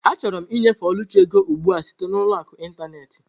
Achọrọ m ịnyefe Oluchi ego ugbu a site na ụlọ akụ ịntanetị.